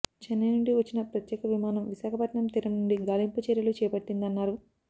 చెన్నై నుండి వచ్చిన ప్రత్యేక విమానం విశాఖపట్నం తీరం నుండి గాలింపు చర్య లు చేపట్టిందన్నారు